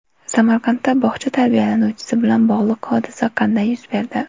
Samarqandda bog‘cha tarbiyalanuvchisi bilan bog‘liq hodisa qanday yuz berdi?.